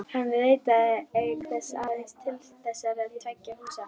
Hann rataði auk þess aðeins til þessara tveggja húsa.